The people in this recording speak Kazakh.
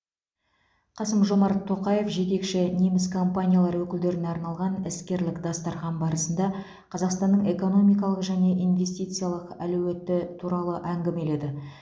қасым жомарт тоқаев жетекші неміс компаниялары өкілдеріне арналған іскерлік дастархан басында қазақстанның экономикалық және инвестициялық әлеуеті туралы әңгімеледі